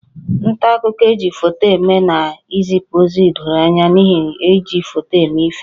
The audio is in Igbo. Nta akụkọ e ji foto eme na-ezipụ ozi doro anya n'ihi iji foto eme ihe